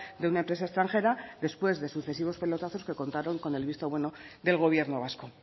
de una empresa extranjera después de sucesivos pelotazos que contaron con el visto bueno del gobierno vasco